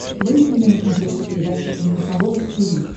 выведи мне на смотрешке передачу эн эйч кей волд ти ви